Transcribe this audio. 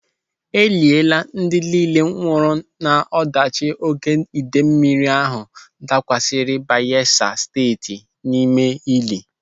Eliela ndị nille nwụrụ n'ọdachi oké idei mmiri ahụ dakwasịrị Bayelsa Steeti n'ime ili.